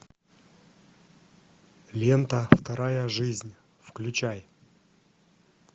лента вторая жизнь включай